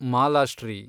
Malashri